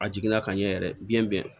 A jiginna ka ɲɛ yɛrɛ biɲɛ bɛɛ